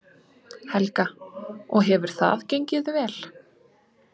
Helga: Og hefur það gengið vel?